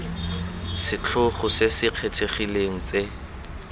setlhogo se se kgethegileng tse